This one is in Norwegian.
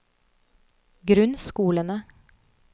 grunnskolene